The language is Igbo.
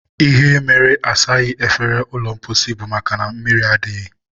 ihe mere na-asaghị efere ụlọ mposi bụ makana mmiri adịghị.